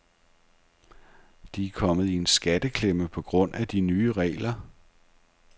De er kommet i en skatteklemme på grund af de nye regler.